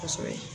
Kosɛbɛ